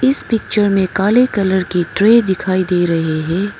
इस पिक्चर में काले कलर की ट्रे दिखाई दे रही है।